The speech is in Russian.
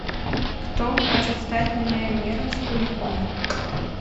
кто хочет стать миллионером с куликом